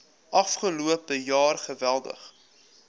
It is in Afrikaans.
afgelope jaar geweldig